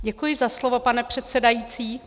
Děkuji za slovo, pane předsedající.